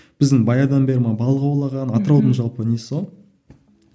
біздің баяғыдан бері балық аулаған атыраудың жалпы несі ғой